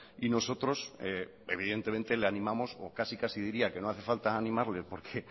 y nosotros evidentemente le animamos o casi casi diría que no hace falta animarles porque